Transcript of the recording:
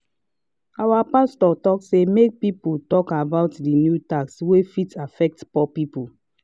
our pastor talk say make people talk about the new tax wey fit affect poor people.